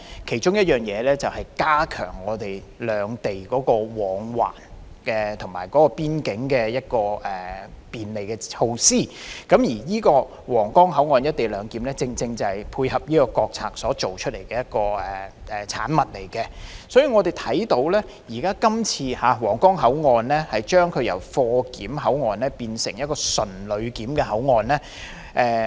其中一個方法便是加強兩地人員和貨物的往來，以及邊境的便利措施，而皇崗口岸"一地兩檢"正正是為配合這項國策而來的產物，所以，今次皇崗口岸將由貨檢口岸變成純旅檢口岸......